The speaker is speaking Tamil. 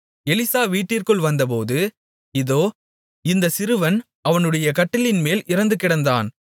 எலிசா வீட்டிற்குள் வந்தபோது இதோ இந்தச் சிறுவன் அவனுடைய கட்டிலின்மேல் இறந்துகிடந்தான்